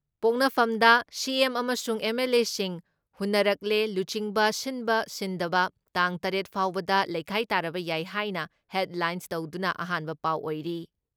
ꯄꯣꯛꯅꯐꯝꯗ CM ꯑꯃꯁꯨꯡ ꯑꯦꯝ.ꯑꯦꯜ.ꯑꯦꯁꯤꯡ ꯍꯨꯟꯅꯔꯛꯂꯦ ꯂꯨꯆꯤꯡꯕ ꯁꯤꯟꯕ ꯁꯤꯟꯗꯕ ꯇꯥꯡ ꯇꯔꯦꯠ ꯐꯥꯎꯕꯗ ꯂꯩꯈꯥꯏ ꯇꯥꯔꯕ ꯌꯥꯏ ꯍꯥꯏꯅ ꯍꯦꯗꯂꯥꯏꯟ ꯇꯧꯗꯨꯅ ꯑꯍꯥꯟꯕ ꯄꯥꯎ ꯑꯣꯏꯔꯤ ꯫